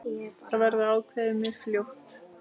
Þetta verður ákveðið mjög fljótt.